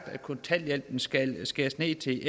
at kontanthjælpen skal skæres ned til